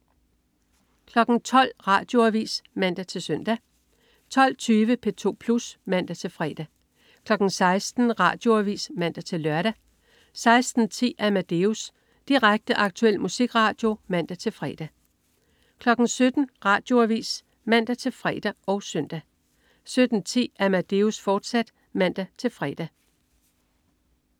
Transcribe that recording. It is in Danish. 12.00 Radioavis (man-søn) 12.20 P2 Plus (man-fre) 16.00 Radioavis (man-lør) 16.10 Amadeus. Direkte, aktuel musikradio (man-fre) 17.00 Radioavis (man-fre og søn) 17.10 Amadeus, fortsat (man-fre)